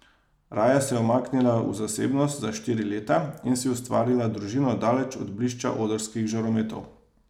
Raje se je umaknila v zasebnost, za štiri leta, in si ustvarila družino daleč od blišča odrskih žarometov.